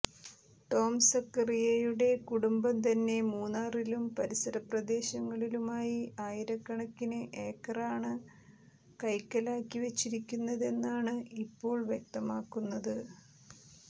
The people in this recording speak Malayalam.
ടോംസക്കറിയയുടെ കുടുംബം തന്നെ മൂന്നാറിലും പരിസരപ്രദേശങ്ങളിലൂമായി ആയിരക്കണക്കിന് ഏക്കറാണ് കൈക്കലാക്കി വച്ചിരിക്കുന്നതെന്നാണ് ഇപ്പോൾ വ്യക്തമാകുന്നത്